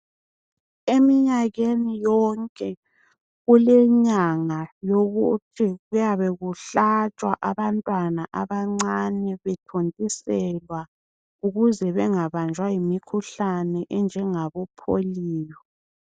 Eminyakeni yonke kulenyanga yokuthi kuyabe kuhlatshwa abantwana abancane bethontiselwa ukuze bengabanjwa yimikhuhlane enjengabo pholiyo.